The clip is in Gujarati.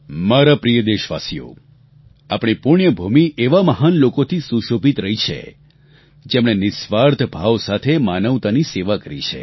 મારા પ્રિય દેશવાસીઓ આપણી પુણ્યભૂમિ એવા મહાન લોકોથી સુશોભિત રહી છે જેમણે નિસ્વાર્થ ભાવ સાથે માનવતાની સેવા કરી છે